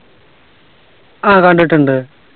ആ കണ്ടിട്ടുണ്ട്